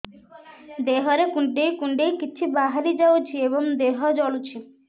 ଦେହରେ କୁଣ୍ଡେଇ କୁଣ୍ଡେଇ କିଛି ବାହାରି ଯାଉଛି ଏବଂ ଦେହ ଜଳୁଛି